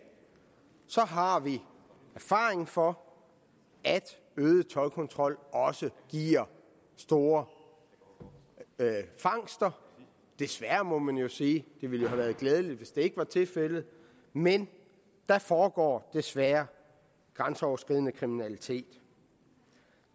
har vi erfaring for at øget toldkontrol også giver stor fangster desværre må man jo sige det ville have været glædeligt hvis det ikke var tilfældet men der foregår desværre grænseoverskridende kriminalitet